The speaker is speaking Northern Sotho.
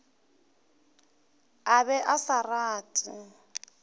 a be a sa rate